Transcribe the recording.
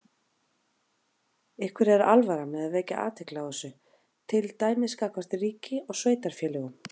Ykkur er alvara með að vekja athygli á þessu, til dæmis gagnvart ríki og sveitarfélögum?